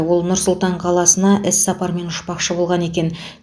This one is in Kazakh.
ол нұр сұлтан қаласына іс сапармен ұшпақшы болған екен